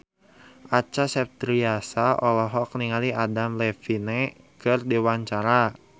Acha Septriasa olohok ningali Adam Levine keur diwawancara